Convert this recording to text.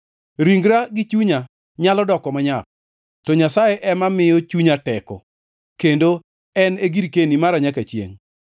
Ringra gi chunya nyalo doko manyap, to Nyasaye ema miyo chunya teko, kendo en e girkeni mara nyaka chiengʼ.